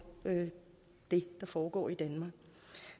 det der foregår i danmark